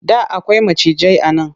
Da akwai macijai a nan.